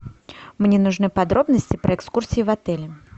мне нужны подробности про экскурсии в отеле